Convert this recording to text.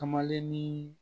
Kamalennin